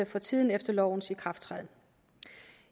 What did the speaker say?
for tiden efter lovens ikrafttræden